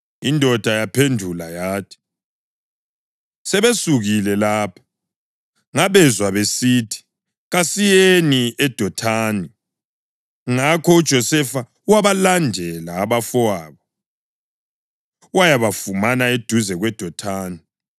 Indoda yaphendula yathi, “Sebesukile lapha. Ngabezwa besithi, ‘Kasiyeni eDothani.’ ” Ngakho uJosefa wabalandela abafowabo wayabafumana eduze kweDothani.